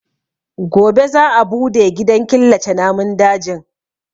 Gobe za a bude gidan killace namun dajin.